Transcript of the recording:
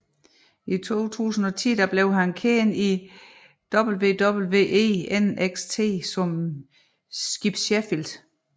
I 2010 blev han kendt i WWE NXT som Skip Sheffield